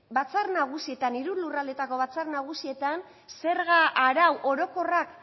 batzar nagusietan hiru lurraldeetako batzar nagusietan zerga arau orokorrak